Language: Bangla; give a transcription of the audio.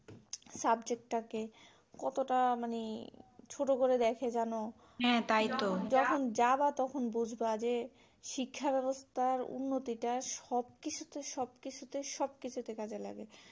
subject টাকে কতটা মানে ছোট করে দেখে জানো যখন যাবা তখন বুঝবা যে শিক্ষা ব্যবস্থার উন্নতি টা সবকিছুতে সবকিছুতে সবকিছুতে কাজ এ লাগে